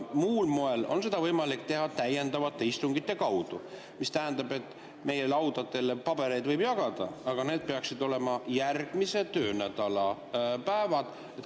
Muul moel on seda võimalik teha täiendavate istungite kaudu, mis tähendab, et meie laudadele pabereid võib jagada, aga seal peaksid olema järgmise töönädala päevad.